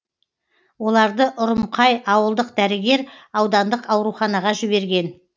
оларды ұрымқай ауылдық дәрігер аудандық ауруханаға жіберген